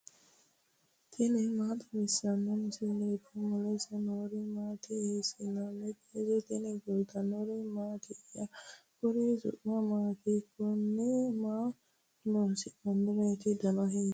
tini maa xawissanno misileeti ? mulese noori maati ? hiissinannite ise ? tini kultannori mattiya? Kuri su'mi maatti? Kunni maa loosannireetti? dannano hiittoreti?